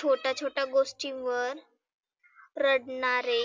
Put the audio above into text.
छोट्या छोट्या गोष्टींवर रडनारे